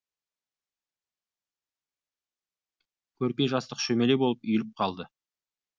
көрпе жастық шөмеле болып үйіліп қалды